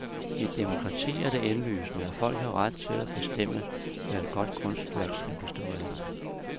I et demokrati er det indlysende, at folk har ret til at bestemme, hvad et godt kunstværk skal bestå af.